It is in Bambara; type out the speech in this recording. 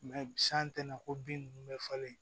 san tɛna ko bin nunnu bɛɛ falen